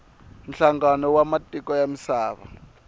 nhlangano wa matiko ya misava